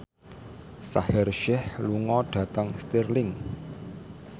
Shaheer Sheikh lunga dhateng Stirling